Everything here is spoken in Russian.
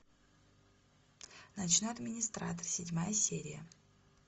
ночной администратор седьмая серия